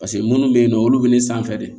Paseke munnu bɛ yen nɔ olu bɛ ne sanfɛ de